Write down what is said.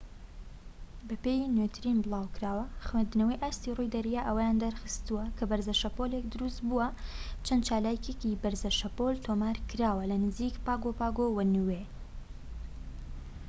بەپێی نوێترین بڵاوکراوە خوێندنەوەی ئاستی ڕووی دەریا ئەوەیان دەرخستوە کە بەرزە شەپۆلێك دروست بووە چەند چالاکیەکی بەرزە شەپۆل تۆمار کراوە لە نزیك پاگۆ پاگۆ و نیوێ